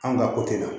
An ka ko tɛ la